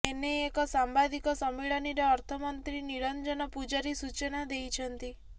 ଏନେଇ ଏକ ସାମ୍ବାଦିକ ସମ୍ମିଳନୀରେ ଅର୍ଥମନ୍ତ୍ରୀ ନିରଞ୍ଜନ ପୂଜାରୀ ସୂଚନା ଦେଇଛନ୍ତି